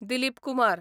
Dilip Kumar